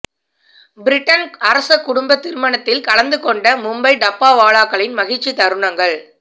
Britain அரச குடும்ப திருமணத்தில் கலந்து கொண்ட மும்பை டப்பாவாலாக்களின் மகிழ்ச்சி தருணங்கள்